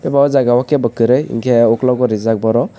o jaga o ke bo koroi hingke ogkologo rijak boro.